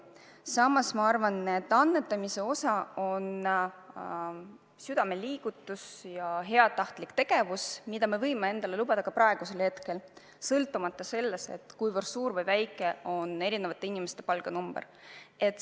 Samas ma arvan, et annetamine on heast südamest tulenev liigutus, heatahtlik tegu, mida me võime endale lubada ka praegusel hetkel, sõltumata sellest, kui suur või väike on eri inimeste palganumber.